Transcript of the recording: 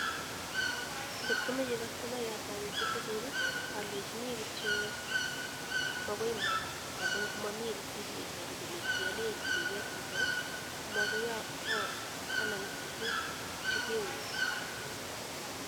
Kot komache customayat awekchi tukuk, alechini kityo makoi imukak amu mamii risit nebaru kole kiale tuket yutayo komakoi anam tukuk chikeweku.